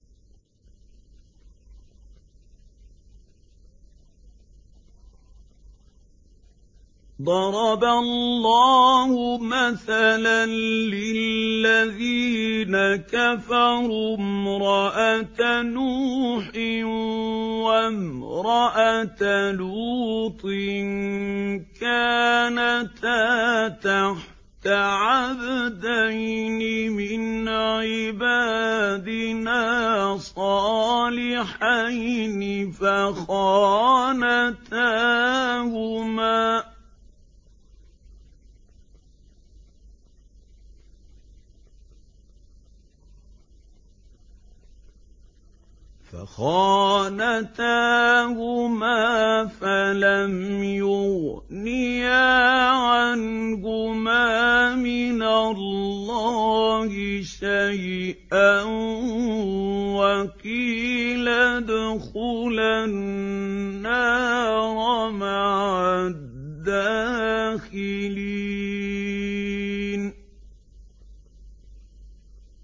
ضَرَبَ اللَّهُ مَثَلًا لِّلَّذِينَ كَفَرُوا امْرَأَتَ نُوحٍ وَامْرَأَتَ لُوطٍ ۖ كَانَتَا تَحْتَ عَبْدَيْنِ مِنْ عِبَادِنَا صَالِحَيْنِ فَخَانَتَاهُمَا فَلَمْ يُغْنِيَا عَنْهُمَا مِنَ اللَّهِ شَيْئًا وَقِيلَ ادْخُلَا النَّارَ مَعَ الدَّاخِلِينَ